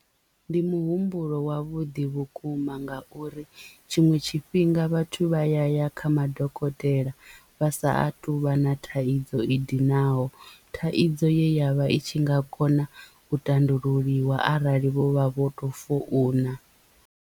Ndi muhumbulo wavhuḓi vhukuma ngauri tshiṅwe tshifhinga vhathu vha ya ya kha madokotela vha sa a tuvha na thaidzo i dinaho thaidzo ye ya vha i tshi nga kona u tandululiwa arali vho vha vho to founa.